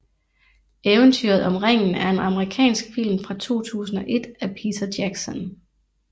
Eventyret om Ringen er en amerikansk film fra 2001 af Peter Jackson